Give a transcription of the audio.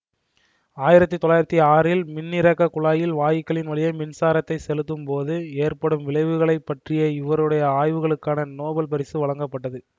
ஆயிரத்தி தொள்ளாயிரத்தி ஆறில் மின்னிறக்கக் குழாயில் வாயுக்களின் வழியே மின்சாரத்தைச் செலுத்தும்போது ஏற்படும் விளைவுகளை பற்றிய இவருடைய ஆய்வுகளுக்காக நோபல் பரிசு வழங்கப்பட்டது